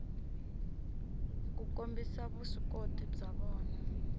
ku kombisa vuswikoti bya vona